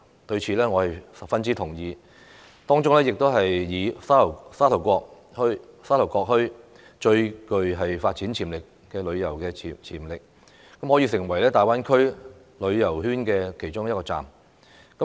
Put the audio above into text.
對此，我是十分同意，當中以沙頭角墟最具發展旅遊潛力，可以成為大灣區旅遊圈的其中一站。